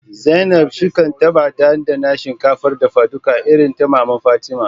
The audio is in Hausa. Zainab, shin kin taba dandana shinkafar dafaduka irin ta maman Fatima?